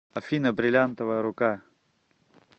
афина брильянтовая рука